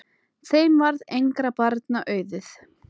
Þeim varð engra barna auðið.